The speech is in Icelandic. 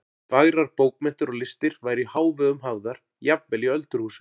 Fagrar bókmenntir og listir væru í hávegum hafðar jafnvel í öldurhúsum.